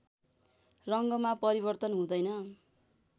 रङ्गमा परिवर्तन हुँदैन